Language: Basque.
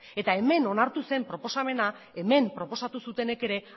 hemen onartu zen proposamena hemen proposatu zutenek ere